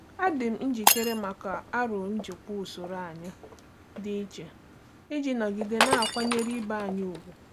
Adị m njikere maka aro n'ijikwa usoro anyị dị iche iji nọgide na-akwanyere ibe anyị ùgwù.